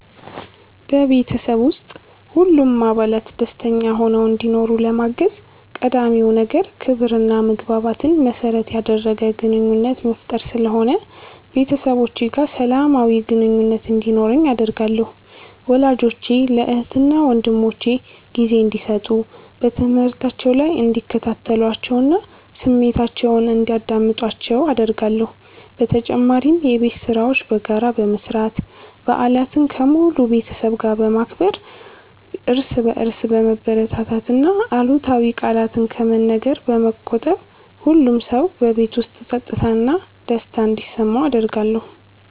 በቤተሰብ ውስጥ ሁሉም አባላት ደስተኛ ሆነው እንዲኖሩ ለማገዝ ቀዳሚው ነገር ክብርና መግባባትን መሠረት ያደረገ ግንኙነት መፍጠር ስለሆነ ቤተሰቦቼ ጋር ሰላማዊ ግንኙነት እንዲኖረኝ አደርጋለሁ። ወላጆቼ ለእህትና ወንድሞቼ ጊዜ እንዲሰጡ፣ በትምህርታቸው ላይ እንዲከታተሏቸውና ስሜታቸውን እንዲያዳምጡአቸው አደርጋለሁ። በተጨማሪም የቤት ሥራዎችን በጋራ በመስራት፣ በዓላትን ከሙሉ ቤተሰብ ጋር በማክበር፣ እርስ በርስ በመበረታታትና አሉታዊ ቃላትን ከመነገር በመቆጠብ ሁሉም ሰው በቤት ውስጥ ፀጥታና ደስታ እንዲሰማው አደርጋለሁ።